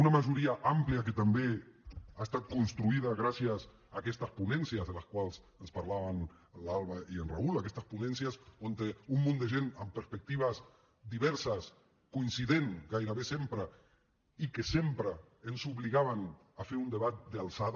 una majoria àmplia que també ha estat construïda gràcies a aquestes ponències de les quals ens parlaven l’alba i el raúl aquestes ponències on un munt de gent amb perspectives diverses coincidents gairebé sempre i que sempre ens obligaven a fer un debat d’alçada